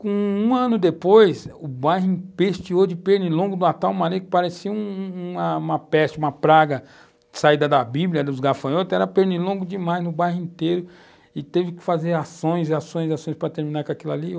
Com um ano depois, o bairro empesteou de pernilongo de uma tal maneira que parecia um um, uma peste, uma praga, saída da Bíblia, dos gafanhotos, era pernilongo demais no bairro inteiro, e teve que fazer ações, ações, ações para terminar com aquilo ali.